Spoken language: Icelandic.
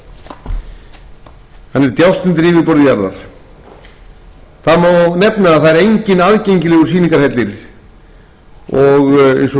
það er enginn aðgengilegur sýningarhellir eins og ég gat um rétt